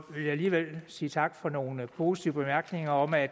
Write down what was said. alligevel sige tak for nogle positive bemærkninger om at